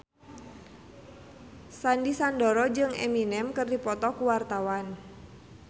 Sandy Sandoro jeung Eminem keur dipoto ku wartawan